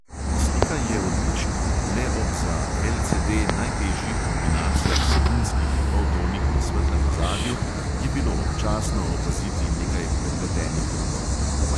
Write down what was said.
Slika je odlična, le ob za LCD najtežjih kombinacijah sivinskih poltonih na svetlem ozadju je bilo občasno opaziti nekaj prepletenih robov.